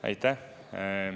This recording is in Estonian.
Aitäh!